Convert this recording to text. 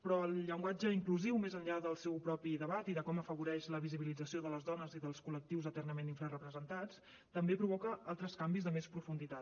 però el llenguatge inclusiu més enllà del seu propi debat i de com afavoreix la visibilització de les dones i dels col·lectius eternament infrarepresentats també provoca altres canvis de més profunditat